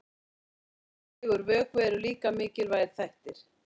Hvíld og nægur vökvi eru líka mikilvægir þættir.